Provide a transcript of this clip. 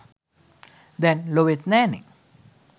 දැන් ලොවෙත් නෑනේ